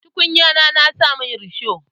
Tukunyar na saman risho.